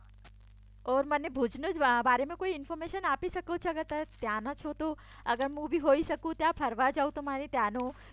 ઓર મને ભુજની બારેમાં ઇન્ફોર્મેશન આપી શકો તમે ત્યાંનાં છો તો અગર હું બી ફરવા જઉ તો મારે ત્યાંનું